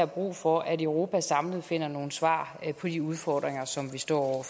brug for at europa samlet finder nogle svar på de udfordringer som vi står over